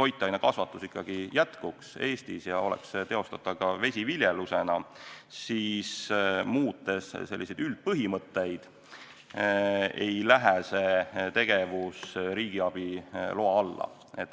toitainekasvatus ikkagi jätkuks Eestis ja see oleks teostatav ka vesiviljelusena, siis muutes selliseid üldpõhimõtteid, ei lähe see tegevus riigiabi alla.